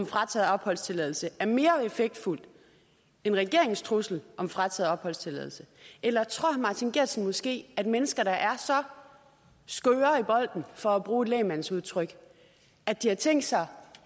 frataget opholdstilladelse er mere effektfuld end regeringens trussel om frataget opholdstilladelse eller tror herre martin geertsen måske at mennesker der er så skøre i bolden for at bruge et lægmandsudtryk at de har tænkt sig